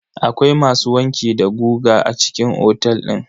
Akwai masu wanki da goga a cikin otel din?